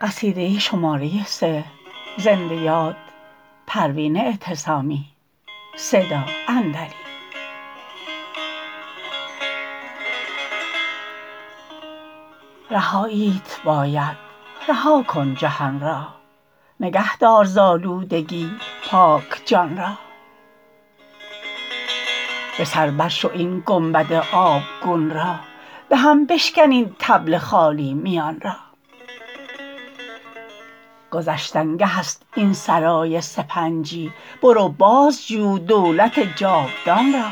رهاییت باید رها کن جهان را نگه دار ز آلودگی پاک جان را به سر برشو این گنبد آبگون را به هم بشکن این طبل خالی میان را گذشتنگه است این سرای سپنجی برو بازجو دولت جاودان را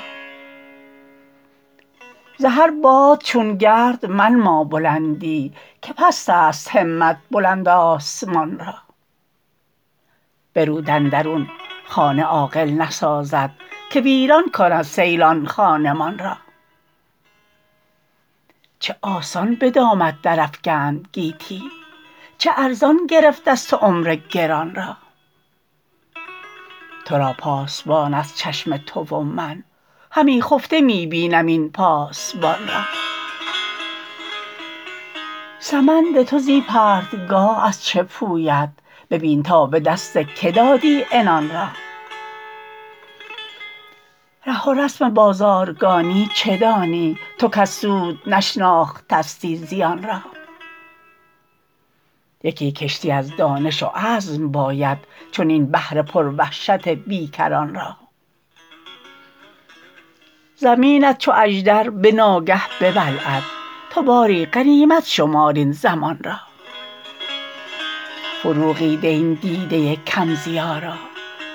ز هر باد چون گرد منما بلندی که پست است همت بلند آسمان را به رود اندرون خانه عاقل نسازد که ویران کند سیل آن خانمان را چه آسان به دامت درافکند گیتی چه ارزان گرفت از تو عمر گران را ترا پاسبان است چشم تو و من همی خفته می بینم این پاسبان را سمند تو زی پرتگاه از چه پوید ببین تا به دست که دادی عنان را ره و رسم بازارگانی چه دانی تو کز سود نشناختستی زیان را یکی کشتی از دانش و عزم باید چنین بحر پروحشت بیکران را زمینت چو اژدر به ناگه ببلعد تو باری غنیمت شمار این زمان را فروغی ده این دیده کم ضیا را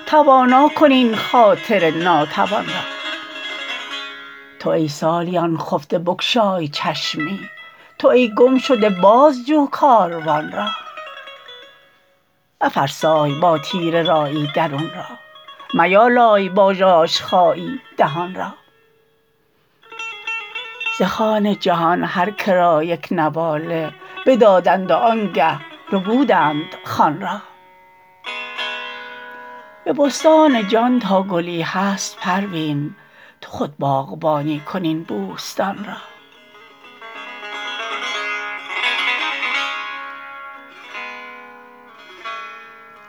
توانا کن این خاطر ناتوان را تو ای سالیان خفته بگشای چشمی تو ای گمشده بازجو کاروان را مفرسای با تیره رایی درون را میالای با ژاژخایی دهان را ز خوان جهان هرکه را یک نواله بدادند و آنگه ربودند خوان را به بستان جان تا گلی هست پروین تو خود باغبانی کن این بوستان را